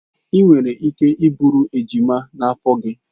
Ị nwere ike iburu ejima n'afọ gị.